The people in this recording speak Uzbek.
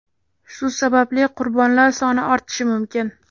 Shu sababli qurbonlar soni ortishi mumkin.